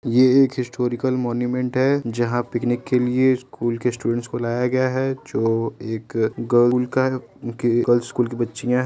एक यह एक हिस्टॉरिकल मॉन्यूमेंट है यहां पिकनिक के लिए स्कूल के स्टूडेंट को लाया गया है जो एक गर्ल गर्ल्स स्कूल की बच्चियां --